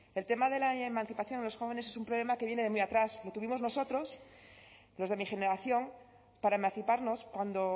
el tema de la emancipación en los jóvenes es un problema que viene de muy atrás lo tuvimos nosotros los de mi generación para emanciparnos cuando